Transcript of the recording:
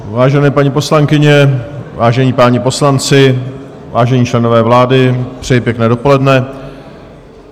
Vážené paní poslankyně, vážení páni poslanci, vážení členové vlády, přeji pěkné dopoledne.